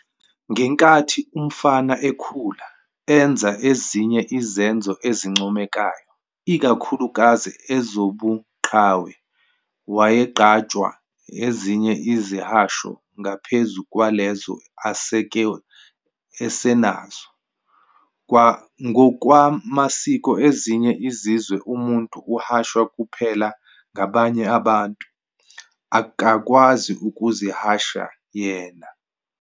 Ngenkathi umfana ekhula, enza ezinye izenzo ezincomekayo, ikakhulukazi ezobuqhawe, wayeqanjwa ezinye izihasho ngaphezu kwalezo aseke esenazo. Ngokwamasiko ezinye izizwe umuntu uhashwa kuphela ngabanye abantu, akakwazi ukuzihasha yena.